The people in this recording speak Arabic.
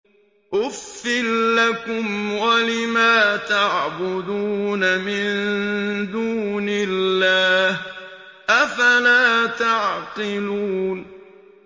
أُفٍّ لَّكُمْ وَلِمَا تَعْبُدُونَ مِن دُونِ اللَّهِ ۖ أَفَلَا تَعْقِلُونَ